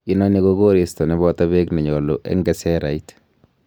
Inoni ko koristo neboto beek nenyolu en keserait.